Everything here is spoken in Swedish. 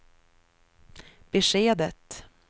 beskedet